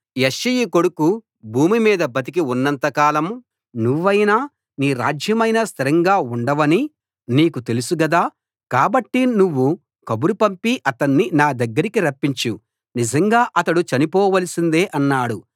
యెష్షయి కొడుకు భూమిమీద బతికి ఉన్నంత కాలం నువ్వైనా నీ రాజ్యమైనా స్థిరంగా ఉండవని నీకు తెలుసు గదా కాబట్టి నువ్వు కబురు పంపి అతణ్ణి నా దగ్గరికి రప్పించు నిజంగా అతడు చనిపోవలసిందే అన్నాడు